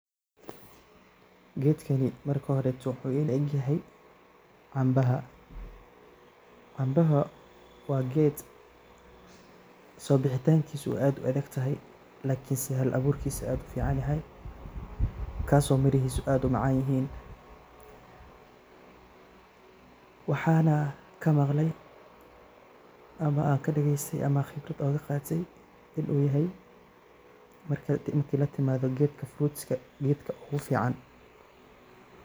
Gedkani marka horeto wuxu ilaegyahay cambaha, cambaha waa ged sobixitankisa u aad uadagtahay lakinse hal aburkisa aad uficanyahay kaso mirahisa aad umacanyihin waxana kamaqlay ama kadageystay ama aan khibrad oga qatay in uyahay marka latimadha gedka fruitska gedka ugu fican.